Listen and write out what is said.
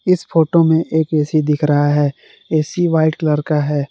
इस फोटो में एक ए_सी दिख रहा है ए_सी व्हाइट कलर का है।